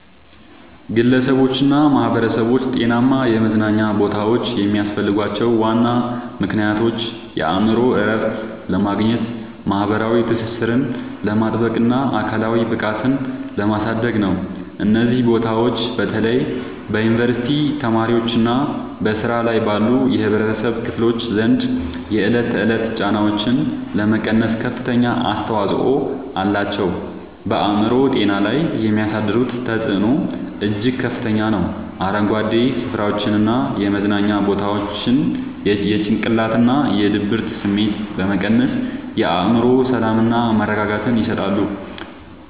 ግለሰቦችና ማኅበረሰቦች ጤናማ የመዝናኛ ቦታዎች የሚያስፈልጓቸው ዋና ምክንያቶች የአእምሮ እረፍት ለማግኘት፣ ማኅበራዊ ትስስርን ለማጥበቅና አካላዊ ብቃትን ለማሳደግ ነው። እነዚህ ቦታዎች በተለይ በዩኒቨርሲቲ ተማሪዎችና በሥራ ላይ ባሉ የኅብረተሰብ ክፍሎች ዘንድ የዕለት ተዕለት ጫናዎችን ለመቀነስ ከፍተኛ አስተዋጽኦ አላቸው። በአእምሮ ጤና ላይ የሚያሳድሩት ተጽዕኖ እጅግ ከፍተኛ ነው፤ አረንጓዴ ስፍራዎችና የመዝናኛ ቦታዎች የጭንቀትና የድብርት ስሜትን በመቀነስ የአእምሮ ሰላምና መረጋጋትን ይሰጣሉ።